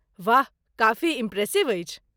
वाह, काफी इम्प्रेसिव अछि।